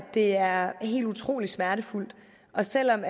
det er helt utrolig smertefuldt og selv om